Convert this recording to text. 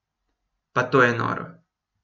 Pa to je noro!